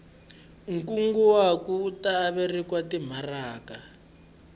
nkunguhato wu ta averiwa timaraka